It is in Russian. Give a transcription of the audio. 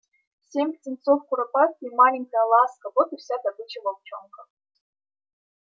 семь птенцов куропатки и маленькая ласка вот и вся добыча волчонка